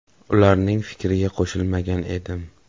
Ularning fikriga qo‘shilmagan edim.